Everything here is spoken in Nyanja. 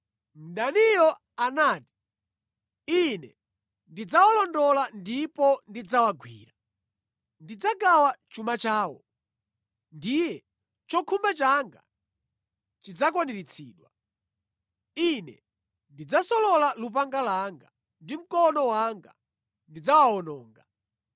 Mdaniyo anati, “Ine ndidzawalondola, ndipo ndidzawagwira. Ndidzagawa chuma chawo; ndiye chokhumba changa chidzakwaniritsidwa. Ine ndidzasolola lupanga langa, ndi mkono wanga ndidzawawononga.”